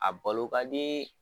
A balo ka dii